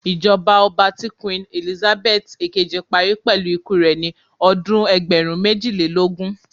Ijọba ọba ti Queen Elizabeth ekeji pari pẹlu iku rẹ ni ọdun ẹgbẹrun mejilelogun